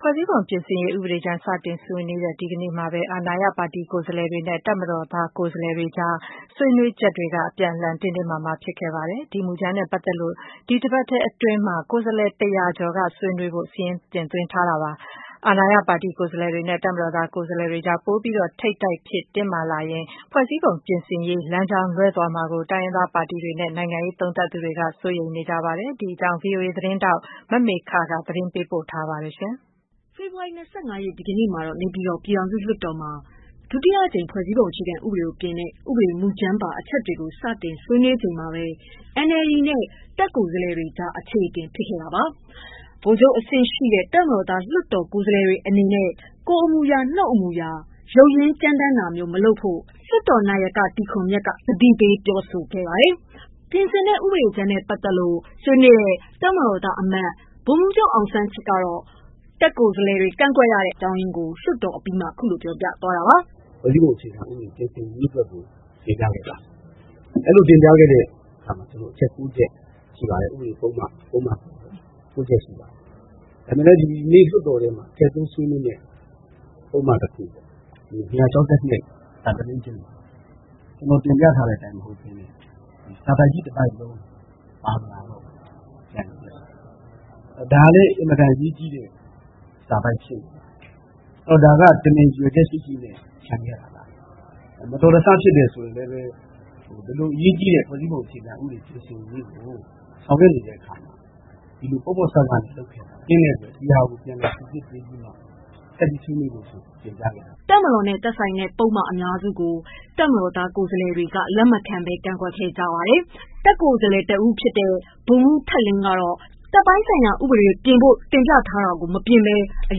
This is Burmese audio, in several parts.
ဖွဲ့စည်းပုံပြင်ဆင်ရေးဥပဒေကြမ်း စတင်ဆွေးနွေးတဲ့ ဒီနေ့မှာပဲ အာဏာရပါတီကိုယ်စားလှယ်တွေနဲ့ တပ်မတော်ကိုယ်စားလှယ်တွေအကြား ဆွေးနွေးချက်တွေက အပြန်အလှန်တင်းတင်းမာမာဖြစ်ခဲ့ပါတယ်။ ဒီ မူကြမ်းနဲ့ပတ်သက်လို့ ဒီတပတ်အတွင်းမှာ ကိုယ်စားလှယ်တရာကျော်ဆွေးနွေးဖို့ စာရင်းသွင်းထားတာပါ။ အာဏာရပါတီကိုယ်စားလှယ်တွေနဲ့ တပ်မတော်ကိုယ်စားလှယ်တွေအကြား ပိုပြီး ထိပ်တိုက်ဖြစ် တင်းမာလာရင်၊ ဖွဲ့စည်းပုံပြင်ရေး လမ်းကြောင်းလွဲသွားမှာကို တိုင်းရင်းသားပါတီတွေနဲ့ နိုင်ငံရေးသုံးသပ်သူတွေက စိုးရိမ်နေကြပါတယ်။ မမေခ သတင်းပေးပို့ထားပါတယ်။ ဖေဖော်ဝါရီ ၂၅ ရက်နေ့ ဒီနေ့ နေပြည်တော် ပြည်ထောင်စုလွှတ်တော်မှာ ဒုတိယအကြိမ် ဖွဲ့စည်းပုံ အခြေခံဥပဒေကို ပြင်ဆင်တဲ့ ဥပဒေမူကြမ်းပါ အချက်တွေကို စတင် တွေးနွေးခဲ့ကြချိန်မှာပဲ NLD နဲ့ တပ်ကိုယ်စားလှယ်တွေ ကြား အချေအတင်ဖြစ်ခဲ့တာပါ။ဗိုလ်ချုပ်အဆင့်ရှိ တပ်မတော်သား လွှတ်တော်ကိုယ်စားလှယ် တွေအနေနဲ့ကိုယ်အမူအရာ၊ နှုတ်အမူအရာ ရုတ်ရင်းကြမ်းတမ်းတာမျိုး မလုပ်ဖို့ လွှတ်တော်နာယက တီခွန်မြတ်ကိုယ်တိုင်က သတိပေးပြောဆိုခဲ့ရတဲ့အထိ ဖြစ်ခဲ့ပါတယ်။ ပြင်ဆင်တဲ့ ဥပဒေကြမ်းနဲ့ ပတ်သတ်လို့ဆွေးနွေးခဲ့တဲ့ တပ်မတော်သားအမတ် ဗိုလ်မှူးချုပ် အောင်စန်းချစ်ကတော့ တပ်ကိုယ်စားလှယ်တွေ ကန့်ကွက်ရတဲ့ အကြောင်းရင်းကို လွှတ်တော်အပြီးမှာ ခုလို ပြောပါတယ်။ "ဖွဲ့စည်းပုံအခြေခံ ပြင်ဆင်ရေးအတွက်ကို တင်ပြခဲ့ပါတယ်။ အဲ့လို တင်ပြခဲ့တဲ့အခါမှာ အချက် ၉ ချက်ရှိပါတယ်။ ဥပဒေပုဒ်မ ၉ ချက်ရှိပါတယ်။ ဒါပေမဲ့လည်း ဒီနေ့ လွှတ်တော်ထဲမှာ ထည့်သွင်းဆွေးနွေးမယ့် ပုဒ်မ တခုပေါ့ ၂၆၂ (ဋ) ကျနော်တင်ပြထားတဲ့အတိုင်း မဟုတ်ဘဲနဲ့ စာပိုဒ်ကြီး တပိုဒ်လုံး ပါမလာတော့ဘူး။ ဒါကလည်း အင်မတန်အရေးကြီးတဲ့ စာပိုဒ်ဖြစ်နေတယ်။ ဒါက တမင် ရည်ရွယ်ချက်ရှိရှိနဲ့ ချန်ခဲ့တာလား။ မတော်တဆဖြစ်တယ်ဆိုရင်လည်းပဲ အလွန်အရေးကြီးတဲ့ ဖွဲ့စည်းပုံအခြေခံ ပြင်ဆင်ရေးကို ဆောင်ရွက်နေတဲ့အခါမှာ ဒီလို ပေါ့ပေါ့ဆဆနဲ့ လုပ်နေတာဖြစ်တဲ့အတွက် ဒီဟာကို ပြန်လည်စိစစ်ပေးပြီးမှပဲ ဆက်ပြီးဆွေးနွေးဖို့ဆိုတာ တင်ပြခဲ့ပါတယ်။" တပ်မတော်နဲ့သက်ဆိုင်တဲ့ ပုဒ်မ အများစုကို တပ်မတော်သား ကိုယ်စားလှယ်တွေက လက်မခံဘဲ ကန့်ကွက်ခဲ့ကြပါတယ်။ တပ်ကိုယ်စားလှယ် ဗိုလ်မှူးထက်လင်း က တပ်ပိုင်းဆိုင်ရာဥပဒေတွေ ပြင်ဖို့ တင်ပြထားတာတွေကို မပြင်ဆင်ပဲ မူလ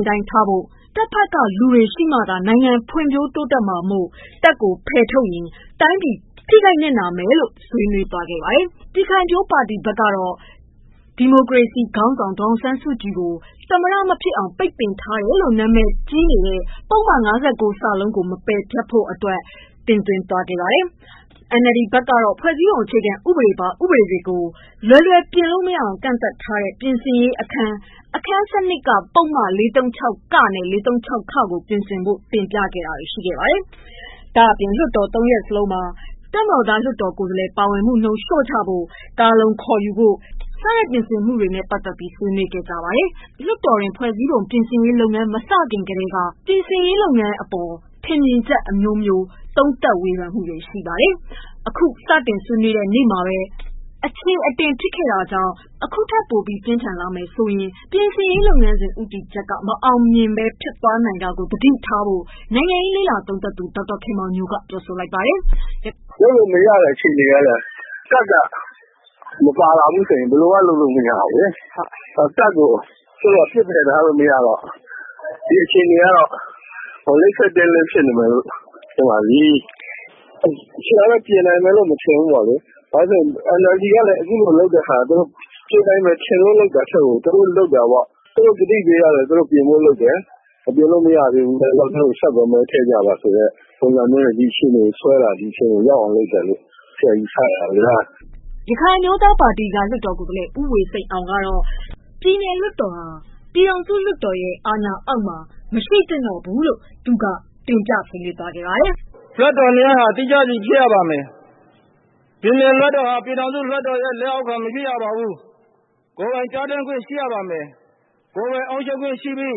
အတိုင်းသာ ထားရှိဖို့အပြင် တပ်ဘက်က လူတွေရှိမှ နိုင်ငံတိုးတက်နိုင်မှာမို့ တပ်ကို ဖယ်ထုတ်ရင် တိုင်းပြည် ထိခိုက်နစ်နာနိုင်တယ်လို့ ဆွေးနွေးသွားခဲ့တာပါ။ ပြည်ခိုင်ဖြိုးပါတီဘက်က ဒီမိုကရေစီ ခေါင်း ဆောင်ဒေါ်အောင်ဆန်းစုကြည် ကိုသမ္မတ မဖြစ်အောင် ပိတ်ထားတယ်လို့နာမည်ကြီးနေတဲ့ ပုဒ်မ ၅၉ (စ)ကို မပယ်ဖျက်ဖို့ အတွက် တင်သွင်းခဲ့သလို NLD ဘက်ကလည်းဖွဲ့စည်းပုံ အခြေခံဥပဒေပါ ဥပဒေတွေကိုလွယ်လွယ် မပြင်နိုင်အောင် ကန့်သတ်ထားတဲ့ ပြင်ဆင်ရေးအခန်း အခန်း ၁၂ ပုဒ်မ ၄၃၆ (က) နဲ့ (ခ) ကိုပြင်ဆင်ဖို့ တင်ပြတာတွေရှိခဲ့ပါတယ်။ဒါ့အပြင် လွှတ်တော် ၃ ရပ် စလုံးမှာ တပ်မတော်သား လွှတ်တော်ကိုယ်စားလှယ် ပါဝင်မှုနှုန်း လျော့ချဖို့၊ ကာလုံ - ခေါ်ယူရေး ဆိုင်ရာ ပြင်ဆင်မှု တွေနဲ့ပတ်သက်ပြီး ဆွေးနွေးခဲ့ပါတယ်။ လွှတ်တော်တွင်း ဖွဲ့စည်းပုံ ပြင်ဆင်ရေးလုပ်ငန်းစဉ်မစခင် ကထဲက နိုင်ငံရေးလေ့လာသုံးသပ်သူ တွေ က ထင်မြင်ချက် အမျိုးမျိုး ပေးနေကြတာပါ။ အခုတော့ စတင်ဆွေးနွေးတဲ့ နေ့မှာဘဲ အချေအတင် ဖြစ်ခဲ့ တာကြောင့် အခုထက် ပိုပြီး ပြင်းထန်လာမယ် ဆိုရင် ပြင်ဆင်ရေးလုပ်ငန်းစဉ် ဦးတည်ချက် မအောင်မြင်ဘဲ ဖြစ်သွားနိုင်တာကို သတိထားဖို့နိုင်ငံရေး သုံးသပ်သူဒေါက်တာခင်မောင်ညိုက ပြောပါတယ်။ "လုပ်လို့မရတဲ့ အခြေအနေဟုတ်လား၊ တပ်က မပါလာဘူးဆိုရင် ဘယ်လိုမှ လုပ်လို့မရဘူး။ တပ်ကို ပစ်ပယ်ထားလို့ မရတော့ ဒီအခြေအနေကတော့ လိပ်ခဲတင်းလင်းဖြစ်နေတယ်လို့ ထင်ပါတယ်။ ပြင်တာတော့ ပြင်နိုင်မယ်လို့တော့ မထင်ဘူးပေါ့လေ။ ဘာလို့လဲဆိုတော့ NLD ကလည်း အခုလိုလုပ်တဲ့ဟာ သူတို့ ပြင်နိုင်မယ်ထင်လွန်းလို့ လုပ်တာထက်ကို သူတို့ကတိပေးထားတဲ့အတိုင်းပြင်ဖို့လုပ်တယ် ပြင်လို့မရသေးဘူးဆိုတော့ ဆက်ပြီးတော့ သူတို့ကို မဲထည့်ကြပါ ဆိုတဲ့ ပုံစံမျိုးနဲ့ ဒီအခြေအနေကို ဆွဲတာ လို့ ဆရာယူဆရပါတယ်။” ရခိုင်အမျိုးသားပါတီမှ လွှတ်တော်ကိုယ်စားလှယ် ဦးဝေစိန်အောင်က ပြည်နယ်လွှတ်တော်ဟာ ပြည်ထောင်စု လွှတ်တော်ရဲ့ လက်အောက်မှာ မရှိဖို့ဆွေးနွေးခဲ့ပါတယ်။ “လွှတ်တော်နှစ်ရပ်ဟာသီးခြားစီဖြစ်ရပါမယ်။ ပြည်နယ်လွှတ်တော်ဟာ ပြည်ထောင်စုလွှတ်တော်ရဲ့ လက်အောက်မှာ မရှိရပါဘူး။ ကိုယ်ပိုင်ပြဌာန်းခွင့်ရှိရပါမယ်။ ကိုယ်ပိုင်အုပ်ချုပ်ခွင့်ရှိပြီး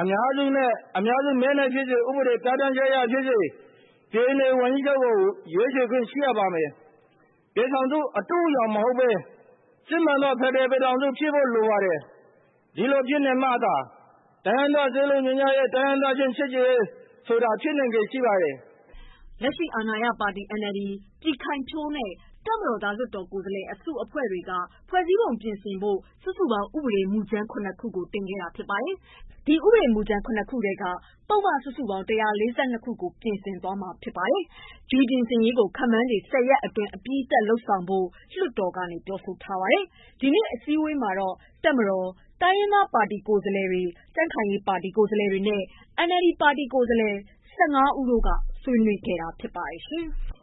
အများစုမဲနဲ့ ဖြစ်စေ ဥပဒေပြဌာန်းချက်အရဖြစ်စေ ပြည်နယ်ဝန်ကြီးချုပ်ကိုရွေးချယ်ခွင့်ရှိရပါမယ်။ ပြည်ထောင်စု အတုအယောင်မဟုတ်ဘဲ စစ်မှန်သောဖက်ဒရယ်ပြည်ထောင်စုဖြစ်ဖို့လိုပါတယ်။ ဒီလိုဖြစ်နေမှသာ တိုင်းရင်းသား စည်းလုံးညီညွတ်ရေး တိုင်းရင်းသားချင်း ချစ်ကြည်ရေးဆိုတာဖြစ်နိုင်ချေရှိ ပါတယ်။” လက်ရှိအာဏာရပါတီ NLD၊ ၊ပြည်ခိုင်ဖြိုးနဲ့ တပ်မတော်သား လွှတ်တော်ကိုယ်စားလှယ်အစုအဖွဲ့တို့က ဖွဲ့စည်း ပုံပြင်ဖို့ စုစုပေါင်း ဥပဒေမူကြမ်း ၇ ခု တင်ခဲ့တာဖြစ်ပါတယ်။ တင်သွင်းတဲ့ ဥပဒေ မူကြမ်း ၇ ခု ထဲကပုဒ်မ စုစုပေါင်း ၁၄၂ ခု ပြင်ဆင်မှာ ဖြစ်ပြီး ဒီ ပြင်ဆင်ရေးကို ခန့်မှန်းခြေ ၁၀ရက် အတွင်းမှာ အပြီးသတ်လုပ်ဖို့ လျာထား တယ်လို့ လွတ်တော်က ပြောပါတယ်။ ဒီနေ့အစည်းအဝေးမှာတော့ တပ်မတော်၊ တိုင်းရင်းသားပါတီ ကိုယ်စားလှယ်တွေ၊ ကြံ့ခိုင်ရေးပါတီ ကိုယ်စားလှယ်တွေနဲ့ NLD ပါတီက ကိုယ်စားလှယ်စုစုပေါင်း ၁၅ ဦးတို့က ဆွေးနွေးခဲ့တာဖြစ်ပါတယ်။